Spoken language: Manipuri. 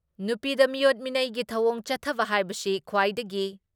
ꯅꯨꯄꯤꯗ ꯃꯤꯑꯣꯠ ꯃꯤꯅꯩꯒꯤ ꯊꯧꯑꯣꯡ ꯆꯠꯊꯕ ꯍꯥꯏꯕꯁꯤ ꯈ꯭ꯋꯥꯏꯗꯒꯤ